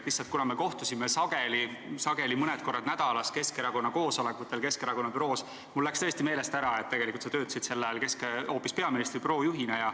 Lihtsalt, kuna me kohtusime sageli mõned korrad nädalas koosolekutel Keskerakonna büroos, siis mul läks tõesti meelest ära, et tegelikult sa töötasid sel ajal hoopis peaministri büroo juhina.